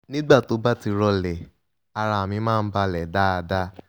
nígbà tó bá ti rọlẹ̀ ara mi máa ń balẹ̀ dáadáa